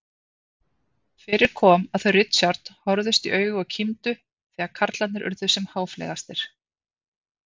Fyrir kom að þau Richard horfðust í augu og kímdu þegar karlarnir urðu sem háfleygastir.